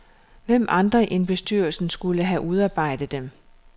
Hvem andre end bestyrelsen skulle have udarbejdet dem?